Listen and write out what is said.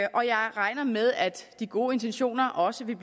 og jeg regner med at de gode intentioner også vil